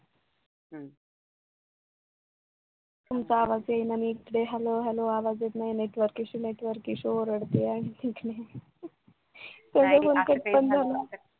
तुमचा आवाज येत नाही नीट ते hello hello आवाज येत नाही network issue network issue ओरडतीये तेवढ्यात कट पण झाला